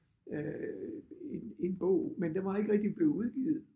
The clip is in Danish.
Øh en en bog men den var ikke rigtig blevet udgivet